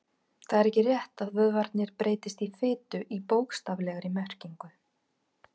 Það er ekki rétt að vöðvarnir breytist í fitu í bókstaflegri merkingu.